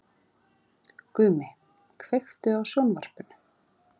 Gumi, kveiktu á sjónvarpinu.